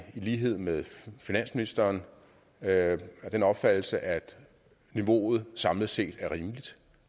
lighed med finansministeren af den opfattelse at niveauet samlet set er rimeligt